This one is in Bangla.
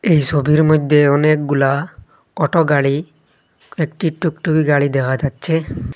এই সবির মইধ্যে অনেকগুলা অটো গাড়ি কয়েকটি টুকটুকি গাড়ি দেখা যাচ্ছে।